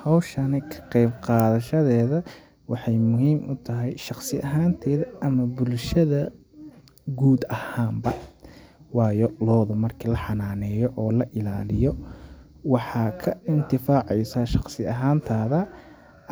Hawshani ka qeyb qaadashadeeda waxeey muhiim u tahay shaqsi ahaan teyda ama bulshada guud ahaan ba ,waayo loodu marki la xanaaneyo oo la ilaaliyo waxaa ka intifaa ceysaa shaqsi ahaan taada